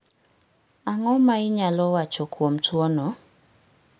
Ang'o ma in inyalo wacho kuom tuwono?